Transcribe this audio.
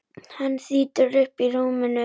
Hann þýtur upp úr rúminu.